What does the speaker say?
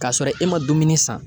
K'a sɔrɔ e ma dumuni san